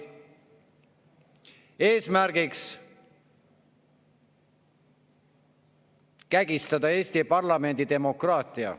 Eesmärgiks on kägistada Eesti parlamendi demokraatiat.